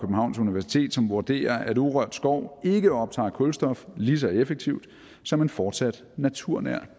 universitet som vurderer at urørt skov ikke optager kulstof lige så effektivt som en fortsat naturnær